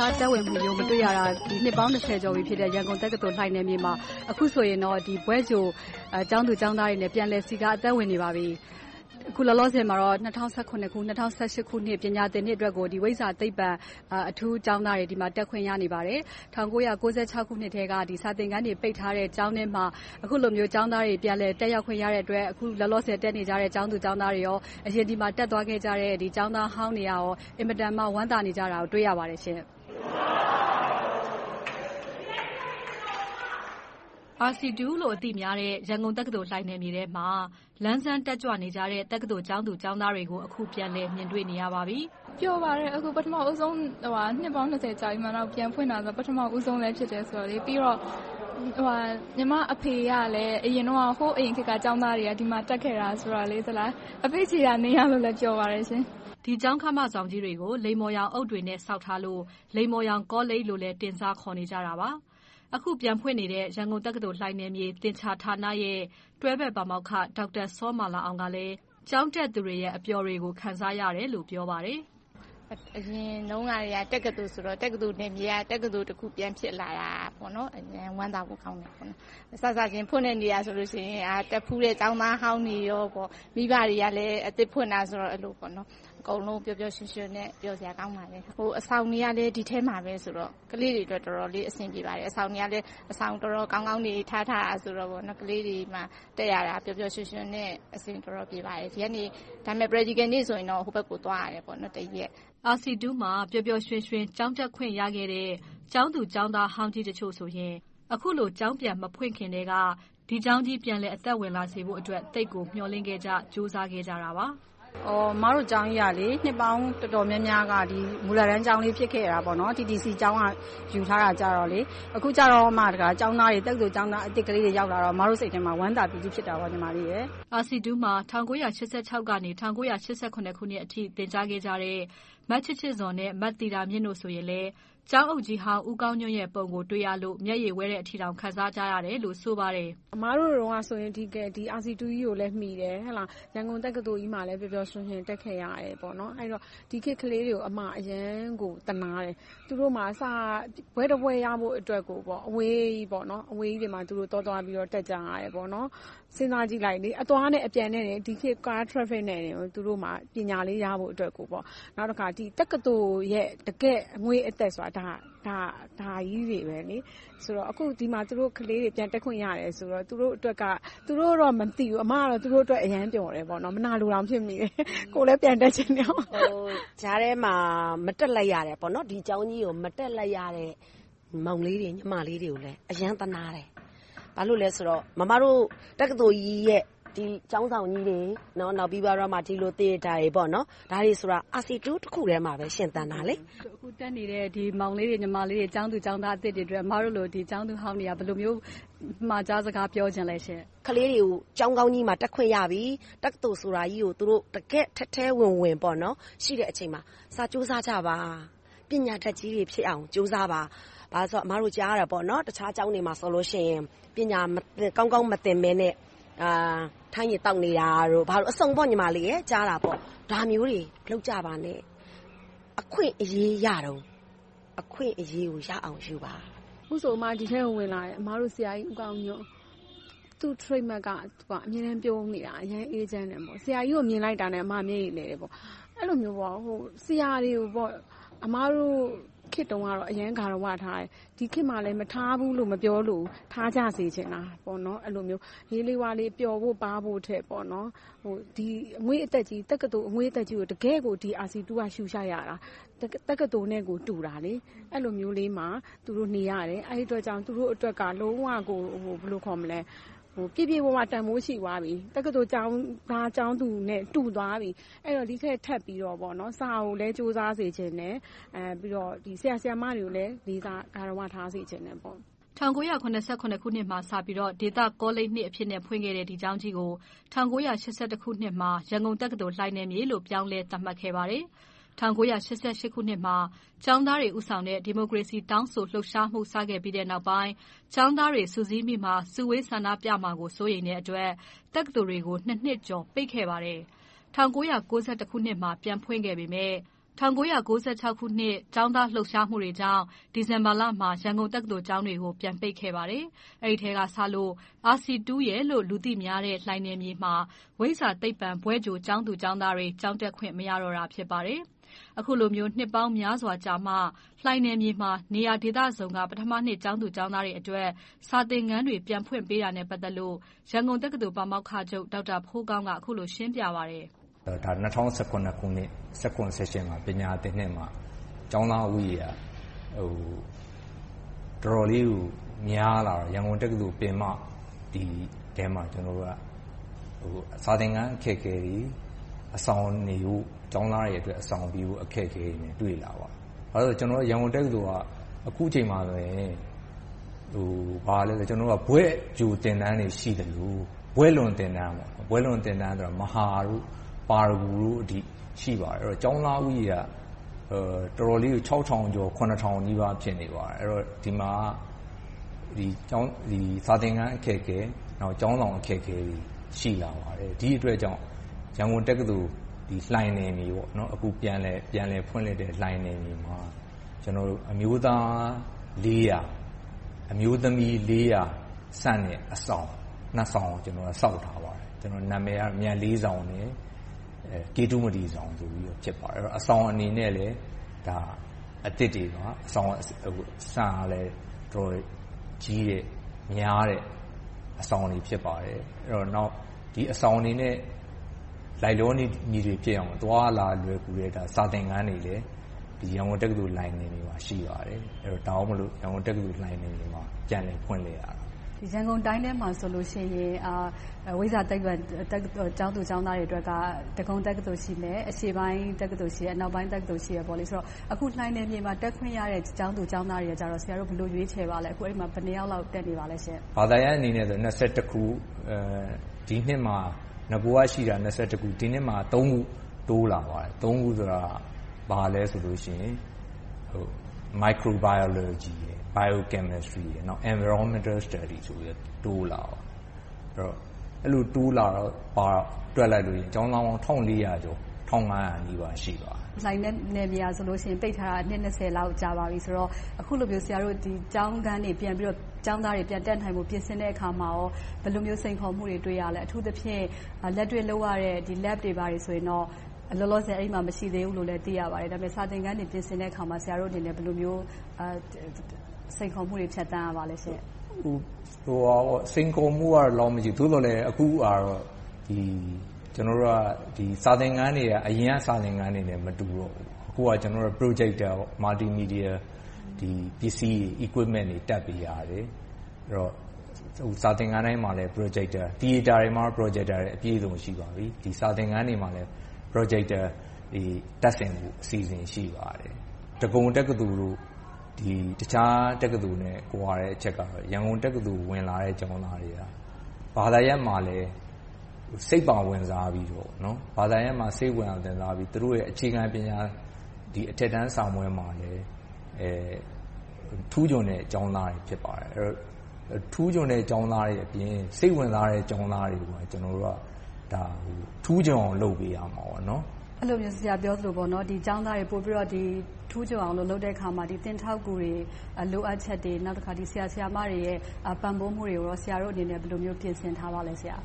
ရှားသက်ဝင်မှုမျိုးကို မတွေ့ရတာ အခုဆိုရင် နှစ်ပေါင်း ကျော်ပြီဖြစ်တဲ့ ရန်ကုန်တက္ကသိုလ် လှိုင်နယ်မြေမှာ အခုဆိုရင်တော့ ဘွဲ့ကြိုကျောင်းသူကျောင်းသားတွေနဲ့ ပြန်လည်စည်းကား သက်ဝင်နေပါပြီ။ အခုလောလောဆယ်မှာတော့ ၂၀၁၇-၂၀၁၈ ခုနှစ် ပညာသင်နှစ်အတွက်ကို ဝိဇ္ဇာ-သိပ္ပံ အထူးကျောင်းသားတွေ တက်ခွင့်ရနေပါတယ်။ ၁၉၉၆ ခုနှစ်ကတည်းက စာသင်ခန်းတွေ ပိတ်ထားတဲ့ ကျောင်းထဲမှာ အခုလိုမျိုး ကျောင်းသားတွေ ပြန်လည်တက်ရောက်ခွင့်ရတဲ့အတွက် အခုလောလောဆယ် တက်နေကြတဲ့ ကျောင်းသူကျောင်းသားတွေနဲ့ အရင် ဒီမှာ တက်ရောက်သင်ကြားခဲ့ကြတဲ့ ကျောင်းသားဟောင်းတွေ အင်မတန် ဝမ်းသာနေကြတာကို တွေ့ရပါတယ်။ RC လို အသိများတဲ့ ရန်ကုန်တက္ကသိုလ် လှိုင်နယ်မြေထဲမှာ လန်းဆန်းတက်ကြွနေကြတဲ့ တက္ကသိုလ် ကျောင်းသူကျောင်းသားတွေကို အခု ပြန်လည်မြင်တွေ့နေရပါပြီ။ ပျော်ပါတယ်။ အခု ပထမဦးဆုံး နှစ်ပေါင်း ကျော်ကြာပြီးမှ ပြန်ဖွင့်တာ၊ ပထမဦးဆုံးလည်း ဖြစ်တယ်ဆိုတော့။ ပြီးတော့ ညီမအဖေကလည်း ဟိုးအရင်ခေတ်က ကျောင်းသားကြီး ဒီမှာတက်ခဲ့တယ်ဆိုတော့ အဖေ့ခြေရာနင်းရလို့လည်း ပျော်ပါတယ်။ ဒီကျောင်းခမကြီးတွေကို လိမ္မော်ရောင်အုတ်တွေနဲ့ ဆောက်ထားလို့ လိမ္မော်ရောင်ကောလိပ်လို့လည်း တင်စားခေါ်နေကြတာပါ။ အခုပြန်ဖွင့်နေတဲ့ ရန်ကုန်တက္ကသိုလ် လှိုင်နယ်မြေ သင်္ချာဌာနရဲ့ တွဲဘက်ပါမောက္ခ စောမာလာအောင်ကလည်း ကျောင်းတက်သူတွေရဲ့ အပျော်တွေကို ခံစားရတယ်လို့ ပြောဆိုပါတယ်။ အရင်တုန်းကတည်းက တက္ကသိုလ်ဆိုတော့ တက္ကသိုလ်နယ်မြေတခုက တက္ကသိုလ် ပြန်ဖြစ်လာတာ ဝမ်းသာဖို့ ကောင်းပါတယ်။ စစချင်း ဖွင့်တဲ့နေ့ကဆိုရင် တက်ဖူးတဲ့ ကျောင်းသားဟောင်းတွေ၊ မိဘတွေကလည်း အသစ်ဖွင့်တယ်ဆိုတော့ အကုန်လုံး ပျော်ပျော်ရွှင်ရွှင်နဲ့ ပျော်စရာကောင်းပါတယ်။ အဆောင်တွေကလည်း ဒီထဲမှာဆိုတော့ ကလေးတွေအတွက် တော်တော်လေး အဆင်ပြေပါတယ်။ အဆောင်တွေကလည်း တော်တော်ကောင်းကောင်းတွေဆိုတော့ ကလေးတွေမှာ တက်ရတာ ပျော်ပျော်ရွှင်ရွှင်နဲ့ အဆင်တော်တော်ပြေပါတယ်။ ဒီကနေ Praticial နေ့ဆိုရင်တော ဟိုဘက်ကို သွားရတယ် တစ်ရက်။ RC မှာ ပျော်ပျော်ရွှင်ရွှင် ကျောင်းတက်ခွင့်ရခဲ့တဲ့ ကျောင်းသူကျောင်းသားဟောင်းကြီးတချို့ဆိုရင် အခုလို ကျောင်းပြန်မဖွင့်ခင်ကတည်းက ဒီကျောင်းကြီး ပြန်လည်အသက်ဝင်လာစေဖို့အတွက် သိပ်ကိုမျှော်လင့်ခဲ့ကြ၊ ကြိုးစားခဲ့ကြပါတယ်။ အမတို့ကျောင်းကြီးက နှစ်ပေါင်းတော်တော်များများ မူလတန်းကျောင်းကလေး ဖြစ်ခဲ့တယ်။ TTC ကျောင်းက ယူထားခဲ့တယ်။ အခုမှ တက္ကသိုလ်ကျောင်းသားတွေ အသစ်ကလေးတွေ ရောက်လာတော့ အမတို့စိတ်ထဲမှာ ဝမ်းသာပီတိ ဖြစ်ခဲ့တယ်။ RC မှာ ၁၉၈၆-၈၇ အထိ သင်ကြားခဲ့ကြတဲ့ မချစ်ချစ်ဇော် နဲ့ မသီတာမြင့်တို့ဆိုရင်လည်း ကျောင်းအုပ်ကြီးဟောင်း ဦးကောင်းညွှန့်ပုံကို တွေ့ရလို့ မျက်ရည်ဝဲတဲ့အထိ ခံစားကြရတယ်လို့ ဆိုပါတယ်။ အမတို့တုန်းကဆိုရင် ဒီ RC ကြီးကိုလည်း မီခဲ့တယ်။ ရန်ကုန်တက္ကသိုလ်ကြီးမှာလည်း ပျော်ပျော်ရွှင်ရွှင် တက်ခဲ့ရတယ်။ ဒီခေတ်ကလေးတွေကို အမအနေနဲ့ အရမ်းကို သနားတယ်။ သူတို့မှာ ဘွဲ့တဘွဲ့ရဖို့အတွက် အဝေးကြီးကိုသွားပြီးတော့ တက်ကြရတယ်။ စဉ်းစားကြည့်လိုက် - အသွားနဲ့အပြန် ဒီခေတ် ကား traffic နဲ့ သူတို့မှာ ပညာလေး ရဖို့အတွက်ကို။ နောက်တခါ တက္ကသိုလ်ရဲ့ တကယ့်အငွေ့အသက်ဆိုတာ ဒါကြီးတွေ။ ဆိုတော့ အခု ဒီမှာ ကလေးတွေ ပြန်တက်ခွင့်ရတယ်ဆိုတော့ သူတို့အတွက်က - သူတို့တော့ မသိဘူး၊ အမတော့ သူတို့အတွက် အရမ်းပျော်တယ်။ မနာလိုတောင် ဖြစ်မိတယ်။ ကိုယ်လည်း ပြန်တက်ချင်တာပေါ့။ ကြားထဲမှာ မတက်လိုက်ရတဲ့ ဒီကျောင်းကြီးကို မတက်လိုက်ရတဲ့ မောင်လေးတွေ၊ ညီမလေးတွေကိုလည်း အရမ်းသနားတယ်။ ဘာဖြစ်လို့လဲဆိုတော့ မမတို့ တက္ကသိုလ်ကြီးရဲ့ ဒီကျောင်းဆောင်ကြီးတွေ၊ နောက်ပြီးတော့ ဒီလို Theater တွေဆိုတာ RC တခုတည်းမှာပဲ ရှင်သန်နေတာ။ အခု တက်နေတဲ့ မောင်လေးတွေ၊ ညီမလေးတွေ၊ ကျောင်းသူကျောင်းသားသစ်တွေအတွက် အမတို့လို ကျောင်းသူဟောင်းတွေက ဘယ်လိုမျိုး အမှာကြားစကား ပြောချင်ပါလဲ။ ကလေးတွေကို ကျောင်းကောင်းကြီးမှာ တက်ခွင့်ရပြီ။ တက္ကသိုလ်ဆိုတာကြီးကို သူတို့ တကယ့်ကို ထဲထဲဝင်ဝင် ရှိတဲ့အချိန်မှာ စာကြိုးစားကြပါ။ ပညာတတ်ကြီးတွေဖြစ်အောင် ကြိုးစားကြပါ။ ဘာဖြစ်လို့လဲဆိုတော့ အမတို့ ကြားနေရတာ တခြားကျောင်းတွေမှာဆိုရင် ပညာကောင်းကောင်း မသင်ဘဲနဲ့ ထန်းရည်သောက်နေတာ၊ ဘာညာအစုံပေါ့။ ဒါမျိုးတွေ မလုပ်ကြပါနဲ့။ အခွင့်အရေးရတုန်း အခွင့်အရေးကို ရအောင်ယူပါ။ အခုဆို အမတို့ ဒီထဲကို ဝင်လာတယ်။ အမတို့ ဆရာကြီးဦးကောင်းညွှန့်။ သူ့ Trademark က သူက အမြဲတမ်း ပြုံးနေတာ။ အရမ်းအေးချမ်းတယ်။ ဆရာကြီးကို မြင်လိုက်တာနဲ့ အမ မျက်ရည်လည်တယ်။ အဲဒီလိုမျိုး ဆရာတွေကို အမတို့ခေတ်တုန်းကတော့ အရမ်း ဂါရဝထားကြတယ်။ ဒီခေတ်မှာလည်း မထားဘူးလို့ မပြောလိုဘူး။ ထားကြစေချင်တာ။ ဟေးလေးဝါးလေး ပျော်ဖို့ထက် ဒီအငွေ့အသက်ကြီး တက္ကသိုလ်အငွေ့အသက်ကို တကယ့်ကို ဒီ RC က ရှုရှိုက်ရတာ။ တက္ကသိုလ်နဲ့ကို တူတာ။ အဲဒီလိုမျိုးလေးမှာ သူတို့ နေရတယ်။ အဲဒီအတွက်ကြောင့် သူတို့အတွက်က လုံးဝကို ပြည့်ပြည့်ဝဝ တန်းဖိုးရှိသွားပြီ။ တက္ကသိုလ်ကျောင်းသားကျောင်းသူနဲ့ တူသွားပြီ။ ဒီထက်ထပ်ပြီးတော့ စာကိုလည်း ကြိုးစားစေချင်တယ်။ ပြီးတော့ ဆရာ၊ ဆရာမတွေကိုလည်း လေးစားဂါရဝ ထားစေချင်တယ်။ ၁၉၇၉ ခုနှစ်မှာ စပြီးတော့ ဒေသကောလိပ် အဖြစ်နဲ့ ဖွင့်ခဲ့တဲ့ ဒီကျောင်းကြီးကို ၁၉၈၁ ခုနှစ်မှာ ရန်ကုန်တက္ကသိုလ် လှိုင်နယ်မြေလို့ ပြောင်းလည်းသတ်မှတ်ခဲ့ပါတယ်။ ၁၉၈၈ ခုနှစ်မှာ ကျောင်းသားတွေ ဦးဆောင်တဲ့ ဒီမိုကရေစီ တောင်းဆိုလှုပ်ရှားမှု စခဲ့ပြီးနောက်ပိုင်း ကျောင်းသားတွေ စုစည်း၊ စုဝေးဆန္ဒပြကြမှာကို စိုးရိမ်တဲ့အတွက် တက္ကသိုလ်တွေကို နှစ်ကျော် ပိတ်ခဲ့ပါတယ်။ ၁၉၉၁ မှာ ပြန်ဖွင့်ခဲ့ပေမယ့် ၁၉၉၆ ကျောင်းသားလှုပ်ရှားမှုတွေကြောင့် ဒီဇင်ဘာလမှာ ရန်ကုန်တက္ကသိုလ် ကျောင်းတွေကို ပြန်ပိတ်ခဲ့ပါတယ်။ အဲဒီအချိန်ကစလို့ RC လို့ လူသိများတဲ့ လှိုင်နယ်မြေမှာ ဝိဇ္ဇာ-သိပ္ပံ ဘွဲ့ကြိုကျောင်းသားတွေ ကျောင်းတက်ခွင့် မရတော့တာ ဖြစ်ပါတယ်။ အခုလိုမျိုး နှစ်ပေါင်းများစွာကြာမှ လှိုင်နယ်မြေမှာ နေရာဒေသစုံမှ ပထမနှစ် ကျောင်းသူကျောင်းသားတွေအတွက် စာသင်ခန်းတွေ ပြန်ဖွင့်ပေးတာနဲ့ ပတ်သက်လို့ ရန်ကုန်တက္ကသိုလ် ပါမောက္ခချုပ် ဒေါက်တာဖိုးကောင်း က အခုလို ရှင်းပြပါတယ်။ ၂၀၁၇ ခုနှစ် ၂၀၁၇-၁၈ မှာ ပညာသင်နှစ်မှာ ကျောင်းသားဦးရေက တော်တော်လေးကို များလာတော့ ရန်ကုန်တက္ကသိုလ် ထဲမှာ စာသင်ခန်း အခက်အခဲတွေ၊ အဆောင်နေဖို့ ကျောင်းသားတွေအတွက် အဆောင်အခက်အခဲတွေ တွေ့လာပါတယ်။ ဘာဖြစ်လို့လဲဆိုတော့ ရန်ကုန်တက္ကသိုလ်က အခုအချိန်မှာ ဘွဲ့ကြိုသင်တန်းတွေ ရှိသလို၊ ဘွဲ့လွန်သင်တန်း မဟာ၊ ပါရဂူတို့အထိ ရှိပါတယ်။ ဆိုတော့ ကျောင်းသားဦးရေက တော်တော်လေးကို ခြောက်ထောင်ကျော်၊ ခုနှစ်ထောင်နီးပါး ဖြစ်နေတယ်။ အဲဒီတော့ စာသင်ခန်းအခက်အခဲတွေ ရှိတယ်။ ကျောင်းဆောင်အခက်အခဲတွေ ရှိလာပါတယ်။ ဒီအတွက်ကြောင့် ရန်ကုန်တက္ကသိုလ် လှိုင်နယ်မြေ။ အခု ပြန်လည်ဖွင့်လှစ်တဲ့ လှိုင်နယ်မြေမှာ ကျနော်တို့ အမျိုးသား ၊ အမျိုးသမီး ဆန့်တဲ့ အဆောင် ဆောင်ကို ဆောက်ထားပါတယ်။ နာမည်က မြတ်လေးဆောင် နဲ့ ကေတုမတီဆောင် ဆိုတို့ ဖြစ်ပါတယ်။ အဆောင်အနေနဲ့လည်း အသစ်တွေပါ။ အဆောင်တွေက အတော်ကြီးတဲ့၊ များတဲ့ အဆောင်တွေ ဖြစ်ပါတယ်။ နောက် ဒီအဆောင်တွေနဲ့ လိုက်လျောညီထွေဖြစ်အောင် အသွားအလာလွယ်ကူတဲ့ စာသင်ခန်းတွေလည်း ရန်ကုန်တက္ကသိုလ် လှိုင်နယ်မြေမှာ ရှိပါတယ်။ ဒါကြောင့်မို့ ရန်ကုန်တက္ကသိုလ် လှိုင်နယ်မြေမှာ ပြန်လည်ဖွင့်လှစ်တာပါ။ ရန်ကုန်တိုင်းထဲမှာဆိုရင် ဝိဇ္ဇာ-သိပ္ပံ တက္ကသိုလ် ကျောင်းသူကျောင်းသားများအတွက် ဒဂုံတက္ကသိုလ် ရှိမယ်။ အရှေ့ပိုင်းတက္ကသိုလ်၊ အနောက်ပိုင်းတက္ကသိုလ် ရှိတယ်။ အခု လှိုင်နယ်မြေမှာ တက်ခွင့်ရတဲ့ ကျောင်းသူကျောင်းသားတွေကို ဆရာတို့ ဘယ်လို ရွေးချယ်ပါလဲ။ အခု အဲဒီမှာ ဘယ်နှစ်ယောက်လောက် တက်နေပါလဲ။ ဘာသာရပ်အနေနဲ့ ခု။ ဒီနှစ်မှာ နဂိုကရှိတာ ခု။ ဒီနှစ်မှာ ခု တိုးလာပါတယ် - Microbiology, Biochemstry, Environmental Studies ဆိုပြီး တိုးလာပါတယ်။ အဲဒီလို တိုးလာတော့ ကျောင်းသားပေါင်း ၁၄၀၀ ကျော် ၁၅၀၀ နီးပါး ရှိပါတယ်။ လှိုင်နယ်မြေက ပိတ်ထားတာ နှစ် လောက် ကြာပါပြီးဆိုတော့ အခုလိုမျိုး ကျောင်းခန်းတွေ၊ ကျောင်းသားတွေ ပြန်တက်နိုင်ဖို့ ပြင်ဆင်တဲ့အခါမှာ ဘယ်လိုမျိုး စိန်ခေါ်မှုတွေ တွေ့ရပါလဲ။ အထူးသဖြင့် လက်တွေ့လုပ်ရတဲ့ Lab တွေ၊ ဘာတွေဆိုရင်တော့ လောလောဆယ် အဲဒီမှာ မရှိသေးဘူးလို့လဲ သိရပါတယ်။ ဒါပေမဲ့ စာသင်ခန်းတွေ ပြင်ဆင်တဲ့အခါမှာ ဆရာတို့ ဘယ်လိုမျိုး စိန်ခေါ်မှုမျိုးတွေ ဖြတ်သန်းရပါလဲ။ စိန်ခေါ်မှုကတော့ ဒီလောက်တော့ မရှိဘူး။ သို့သော်လဲ အခုဟာကတော့ စာသင်ခန်းတွေက အရင်က စာသင်ခန်းတွေနဲ့ မတူတော့ဘူး။ အခုက Projector Multimedia ပစ္စည်းတွေ Equipment တွေ တပ်ပေးရတယ်။ စာသင်ခန်းတိုင်းမှာ Projector တွေရှိပြီး၊ Theater တွေမှာ Projector တွေ အပြည့်အစုံ ရှိပါပြီ။ စာသင်ခန်းတွေမှာလည်း Projector တွေ တပ်ဆင်ဖို့ အစီအစဉ် ရှိပါတယ်။ ဒဂုံတက္ကသိုလ်၊ တခြားတက္ကသိုလ်တို့နဲ့ ကွာတဲ့အချက်ကတော့ ရန်ကုန်တက္ကသိုလ် ဝင်လာတဲ့ကျောင်းသားတွေက ဘာသာရပ်မှာလည်း စိတ်ပါဝင်စားပြီးတော့ သူတို့ရဲ့ အခြေခံပညာ အထက်တန်းစာမေးပွဲမှာလည်း ထူးချွန်တဲ့ကျောင်းသားတွေ ဖြစ်ပါတယ်။ ထူးချွန်တဲ့ ကျောင်းသားတွေအပြင် စိတ်ဝင်စားတဲ့ ကျောင်းသားတွေကို ကျနော်တို့က ထူးချွန်အောင်လုပ်ပေးရမှာပေါ့။ အဲဒီလို ဆရာပြောသလို ဒီကျောင်းသားတွေ ပိုပြီးတော့ ထူးချွန်အောင် လုပ်ပေးတဲ့အခါမှာ သင်ထောက်ကူတွေ၊ လိုအပ်ချက်တွေ။ နောက်တခါ ဆရာ၊ ဆရာမတွေရဲ့ ပံ့ပိုးမှုတွေကို ဆရာတို့အနေနဲ့ ဘယ်လိုမျိုး ပြင်ဆင်ထားပါလဲ။ ဆရာ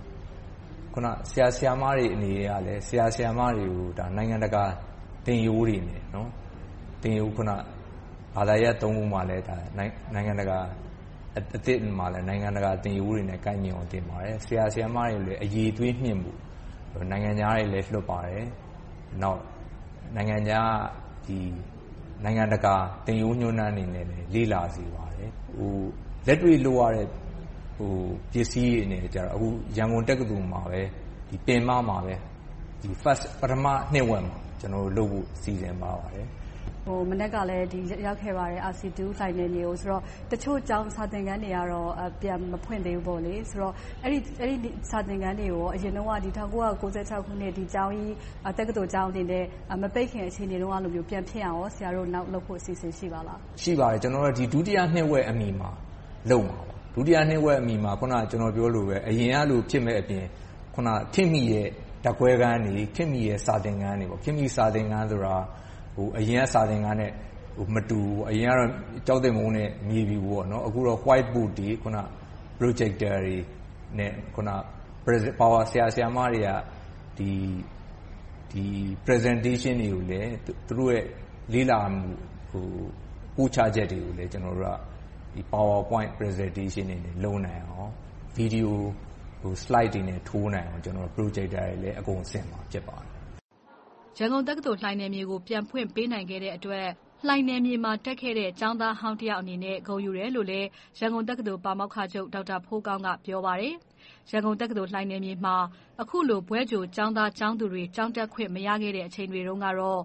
၊ ဆရာမတွေကို နိုင်ငံတကာ သင်ရိုးတွေနဲ့ ဘာသာရပ် ရပ်မှာလည်း နိုင်ငံတကာ သင်ရိုးတွေနဲ့ ကိုက်ညီအောင် သင်ပါတယ်။ ဆရာ၊ ဆရာမတွေကိုလည်း အရည်အသွေးမြှင့်ဖို့ နိုင်ငံခြားတွေလည်း လွှတ်ပါတယ်။ နောက် နိုင်ငံတကာ သင်ရိုးညွှန်တမ်းတွေကိုလည်း လေ့လာစေပါတယ်။ လက်တွေ့လုပ်ရတဲ့ ပစ္စည်းတွေနဲ့ကြတော့ အခု ရန်ကုန်တက္ကသိုလ်မှာပဲ ပင်မမှာ ပထမနှစ်ဝက်မှာ လုပ်နိုင်ဖို့ စီစဉ်ထားပါတယ်။ မနက်ကလည်း ရောက်ခဲ့ပါတယ်။ RC လှိုင်နယ်မြေကို - တချို့ စာသင်ခန်းတွေကတော့ ပြန်မဖွင့်သေးဘူး။ အဲဒီ စာသင်ခန်းတွေကို အရင်တုန်းက ၁၉၉၆ ခုနှစ် တက္ကသိုလ်ကျောင်းကြီးအနေနဲ့ မပိတ်ခင် အခြေအနေမျိုးလို ပြန်ဖြစ်အောင် ဆရာတို့ နောက်လုပ်ဖို့ အစီအစဉ် ရှိပါသလား။ ရှိပါတယ်။ ကျနော်တို့က ဒုတိယနှစ်ဝက်အမီ လုပ်မှာပါ။ ဒုတိယနှစ်ဝက်အမီမှာ အခုန ပြောသလို အရင်ကလို ဖြစ်မယ့်အပြင်၊ ခေတ်မီတဲ့ ဓါတ်ခွဲခန်းတွေ၊ ခေတ်မီတဲ့ စာသင်ခန်းတွေ - ခေတ်မီတဲ့ စာသင်ခန်းဆိုတာ အရင်က စာသင်ခန်းနဲ့ မတူဘူး။ အရင်ကတော့ ကျောင်းသင်ပုန်းနဲ့ မြေဖြူ။ အခုတော့ White Board, Projector တွေနဲ့ ဆရာ၊ ဆရာမတွေက Presentation တွေကိုလည်း သူတို့ လေ့လာပို့ချချက်တွေကိုလည်း Power Point Presentation တွေနဲ့ လုပ်နိုင်အောင် Video Slide တွေနဲ့ ထိုးနိုင်အောင် Projector တွေလည်း အကုန်ဆင်မှာ ဖြစ်ပါတယ်။ ရန်ကုန်တက္ကသိုလ် လှိုင်နယ်မြေကို ပြန်ဖွင့်ပေးနိုင်တဲ့အတွက် လှိုင်နယ်မြေမှာ တက်ခဲ့တဲ့ ကျောင်းသားဟောင်းတယောက်အနေနဲ့ ဂုဏ်ယူတယ်လို့ ရန်ကုန်တက္ကသိုလ် ပါမောက္ခချုပ် ဒေါက်တာဖိုးကောင်းက ပြောပါတယ်။ ရန်ကုန်တက္ကသိုလ် လှိုင်နယ်မြေမှာ အခုလို ဘွဲ့ကြိုကျောင်းသားကျောင်းသူတွေ ကျောင်းတက်ခွင့် မရခဲ့တဲ့အချိန်တွေတုန်းကတော့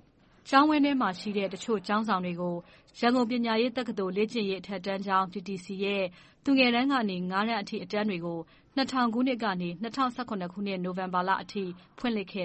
ကျောင်းအတွင်းမှာရှိတဲ့ တချို့ကျောင်းဆောင်တွေကို ရန်ကုန်ပညာရေးတက္ကသိုလ် လေ့ကျင့်ရေးအထက်တန်းကျောင်း TTC ရဲ့ သူငယ်တန်းကနေ ငါးတန်းအထိ အတန်းတွေကို ၂၀၀၀ ခုနှစ်ကနေ ၂၀၁၇ နိုဝင်ဘာလအထိ ဖွင့်လှစ်ခဲ့